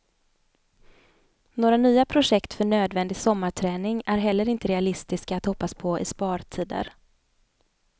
Några nya projekt för nödvändig sommarträning är heller inte realistiska att hoppas på i spartider.